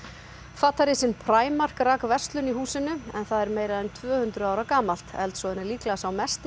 fatarisinn Primark rak verslun í húsinu en það er meira en tvö hundruð ára gamalt eldsvoðinn er líklega sá mesti í